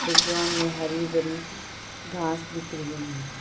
Background में हरी भरी घास दिख रही है।